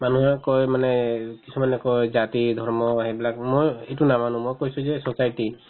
মানুহে কই মানে কিছুমানে কই জাতি-ধৰ্ম সেইবিলাক মই এইটো নামানো মই কৈছো যে society